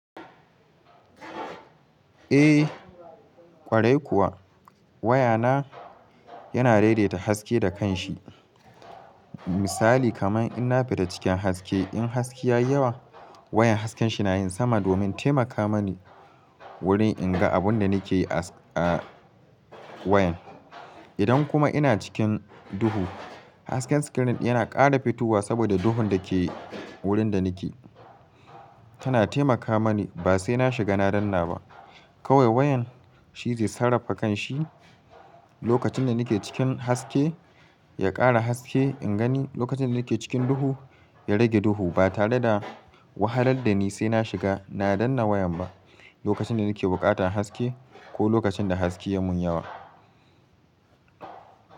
Eh ƙwarai kuwa waya na yana daidaita haske da kan shi. Misali kaman ina fita cikin haske in haske ya yi yawa wayan hasken shi na yin sama domin taimaka mani wurin in ga abun da ni ke a wayan. Idan kuma ina cikin duhu hasken screen yana ƙara fitowa saboda duhun da ke wurin da ni ke tana taimaka mani ba sai na shiga na danna ba. Kawai wayan shi zai sarrafa kan shi lokacin da ni ke cikin haske ya ƙara haske in gani lokacin da ni ke cikin duhu ya rage duhu ba tare da wahalar da ni sai na shiga na danna wayan ba lokacin da ni ke buƙatan haske ko lokacin da haske ya mun yawa.